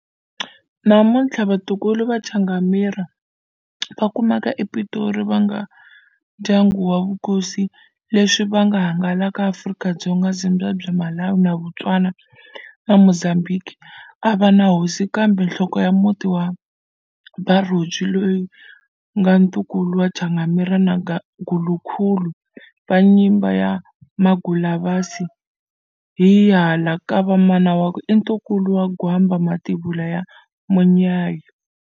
Namuntlha vatukulu va Changamire va kumeka ePitori va nga ndyanngu ya vukosi leswi va nga hangalaka Afrika-Dzonga, Zimbabwe, Malawi, Botswana na Mozambique avana hosi kambe nhloko ya muti wa Barodzwi loya nga ntukulu wa Changamire na Gulukhulu wa nyimba ya Magulasavi hi hala kava mana wakwe i ntukulu wa Gwamba Mativula ya Munyayi.